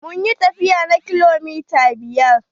Mun yi tafiya na kilomita biyar.